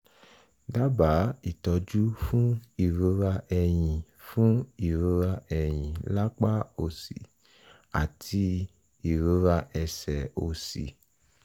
dábàá ìtọ́jú fún ìrora ẹ̀yìn fún ìrora ẹ̀yìn lápá òsì àti ìrora ẹsẹ̀ òsì